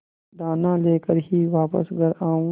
दाना लेकर ही वापस घर आऊँगी